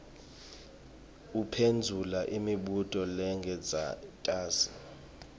uphendvula imibuto lengentasi